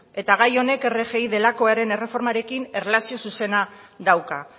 eta gai honek rgi delakoaren erreformarekin erlazio zuzena dauka